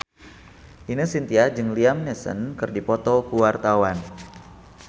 Ine Shintya jeung Liam Neeson keur dipoto ku wartawan